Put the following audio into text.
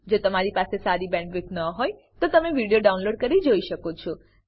જો તમારી પાસે સારી બેન્ડવિડ્થ ન હોય તો તમે વિડીયો ડાઉનલોડ કરીને જોઈ શકો છો